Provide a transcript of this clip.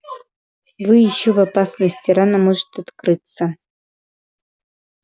вы ещё в опасности рана может открыться